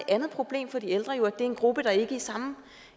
andet problem for de ældre jo at det er en gruppe der ikke i samme